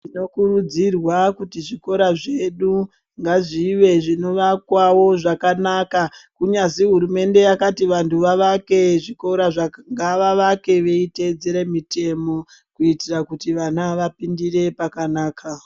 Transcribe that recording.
Tinokurudzira kuti zvikora zvedu ngazvive zvinovakwawo zvakanaka. Kunyazi hurumende yakati vantu vavake zvikora zvaka, ngavavake veiteedzere mitemo, kuitira kuti vana vapindire pakanaka.